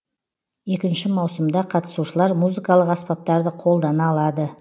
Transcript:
екінші маусымда қатысушылар музыкалық аспаптарды қолдана алады